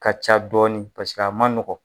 Ka ca dɔɔnin paseke a ma nɔgɔn